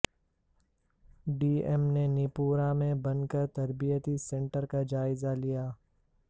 D ایم نے نیپورہ میں بنکر تربیتی سنٹر کا جائزہ لیا